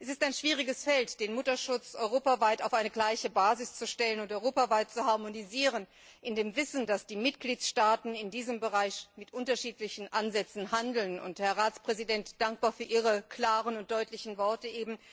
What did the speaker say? Es ist ein schwieriges Feld, den Mutterschutz europaweit auf eine gleiche Basis zu stellen und zu harmonisieren, in dem Wissen, dass die Mitgliedstaaten in diesem Bereich mit unterschiedlichen Ansätzen handeln. Herr Ratspräsident, ich bin dankbar für Ihre klaren und deutlichen Worte.